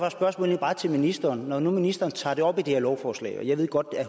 et spørgsmål til ministeren når nu ministeren tager det op i det her lovforslag og jeg ved godt at